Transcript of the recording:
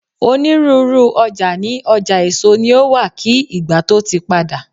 onírúurú oja ni ọjà èso ni o wa ki ìgbà to ti pada